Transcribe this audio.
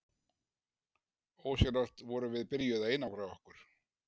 Ósjálfrátt vorum við byrjuð að einangra okkur.